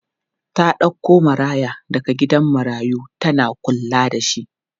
Ta ɗauko maraya daga gidan marayu tana kulla da shi.